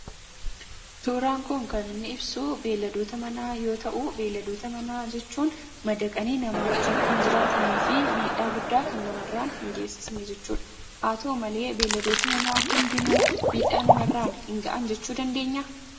Suuraan kun kan inni ibsuu beelladota manaa yoo ta'uu beelladoota manaa jechuun madaqanii namoota wajjiin kan jiraataniifi miidhaa guddaa kan namarraan hin geessifne jechuudha. Haa ta'u malee beelladooti manaa hundinuu miidhaa namarraan hin gahan jechuu dandeenyaa?